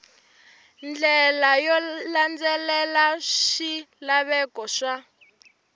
ndlela yo landzelela swilaveko swa